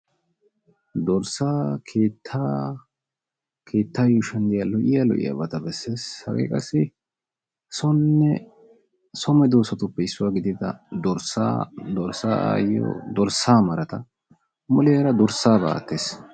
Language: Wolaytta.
dorssaa keettaa keettaa yuushuwan de"iyaa lo"iyaa lo"iyaabata besses. Hage qassi sonne so medoosatuppe issuwa gidida dorssaa, dorssa aayiyo, dorssa marata muleera dorssa malatees.